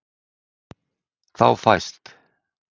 Þá fæst